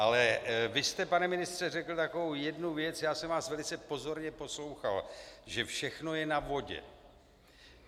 Ale vy jste, pane ministře, řekl takovou jednu věc - já jsem vás velice pozorně poslouchal - že všechno je na vodě.